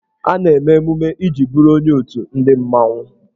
A na-eme emume iji bụrụ onye otù ndị mmanwụ.